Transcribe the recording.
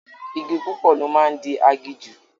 Igi púpọ̀ ló máa ń di aginjù